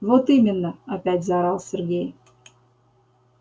вот именно опять заорал сергей